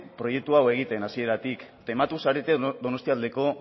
proiektu hau egiten hasieratik tematu zarete donostialdeko